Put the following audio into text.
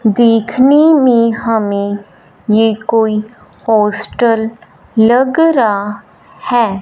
देखने में हमें ये कोई हॉस्टल लग रहा है।